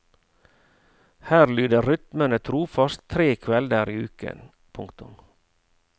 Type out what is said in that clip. Her lyder rytmene trofast tre kvelder i uken. punktum